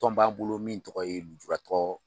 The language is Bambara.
Tɔn b'an bolo min tɔgɔ ye lujuratɔ.